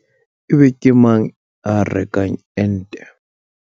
Ebe ke mang a rekang ente?